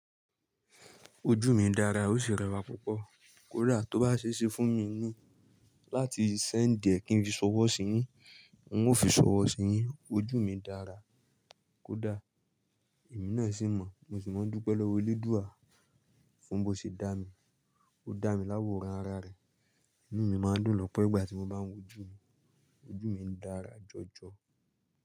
Ojú mi dára, ó sì rẹwà púpọ̀. Kódà tó bá ṣèṣe fún mi ni láti send ẹ̀ kin fi sọwọ́ sí yín, n ó fi sọwọ́ sí yín. Ojú mi dára kódà èmi náà sì mọ̀. Mo sì máa ń dúpẹ́ lọ́wọ́ eledùa fún bó ṣe dá mi ó dá mi láwọ̀ rán ara rẹ̀. Inú mi máa ń dùn lọ́pọ̀ ìgbà tí mo bá ń wo ojú mi. Ojú mi ń dára jọjọ.